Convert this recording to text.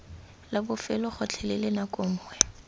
la bofelo gotlhelele nako nngwe